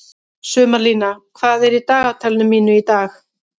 Sumarlína, hvað er í dagatalinu mínu í dag?